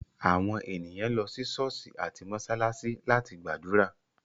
Àwọn ènìyàn lọ sí ṣọ̀ọ́sì àti mósálásí láti gbàdúrà.